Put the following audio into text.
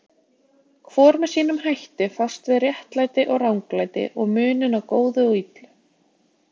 Hvor með sínum hætti fást við réttlæti og ranglæti og muninn á góðu og illu.